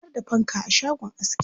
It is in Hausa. Akwai har da fanka a shagon askin.